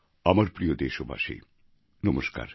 আমার প্রিয় দেশবাসী নমস্কার